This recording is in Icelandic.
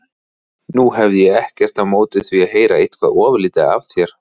Nú hefði ég ekkert á móti því að heyra eitthvað ofurlítið af þér.